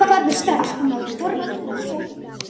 Farðu strax og náðu í Þorvald og Sophus.